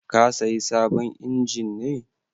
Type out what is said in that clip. Ka sayi sabon injin ne?